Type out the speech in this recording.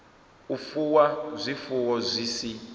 u fuwa zwifuwo zwi si